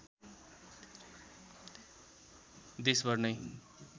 देशभर नै